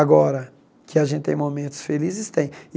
Agora, que a gente tem momentos felizes, tem.